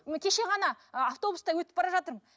ы кеше ғана ы автобуста өтіп бара жатырмын